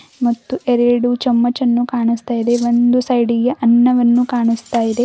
ಮತ್ತು ಎರಡು ಚಮಚ್ ಅನ್ನು ಕಾಣಿಸ್ತಾ ಇದೆ ಒಂದು ಸೈಡಿ ಗೆ ಅನ್ನವನ್ನು ಕಾಣಿಸ್ತಾ ಇದೆ.